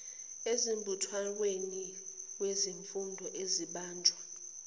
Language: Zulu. embuthanweni wezifundo ezibanjwa